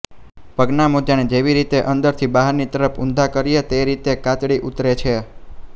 પગના મોજાને જેવી રીતે અંદરથી બહારની તરફ ઊંધા કરીએ તે રીતે કાચળી ઉતરે છે